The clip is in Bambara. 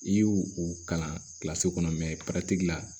I y'u u kalan kɔnɔ la